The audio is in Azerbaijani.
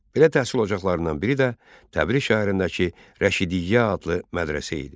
Belə təhsil ocaqlarından biri də Təbriz şəhərindəki Rəşidiyyə adlı mədrəsə idi.